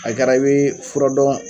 A kɛra i bɛ fura dɔn